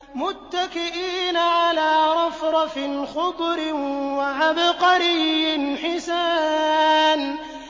مُتَّكِئِينَ عَلَىٰ رَفْرَفٍ خُضْرٍ وَعَبْقَرِيٍّ حِسَانٍ